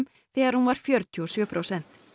þegar hún var fjörutíu og sjö prósent